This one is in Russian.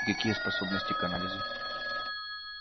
какие способности к анализу